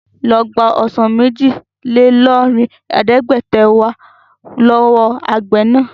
Ló gbà ọsàn méjì-lé-lọ́rìnlẹ̀ẹ́dẹ́gbẹ̀ta wá lọ́wọ́ àgbẹ̀ náà!